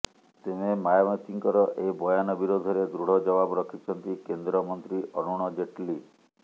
ତେବେ ମାୟାବତୀଙ୍କର ଏହି ବୟାନ ବିରୋଧରେ ଦୃଢ଼ ଜବାବ ରଖିଛନ୍ତି କେନ୍ଦ୍ର ମନ୍ତ୍ରୀ ଅରୁଣ ଜେଟ୍ଲି